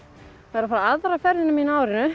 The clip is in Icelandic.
var að fara aðra ferðina mína á árinu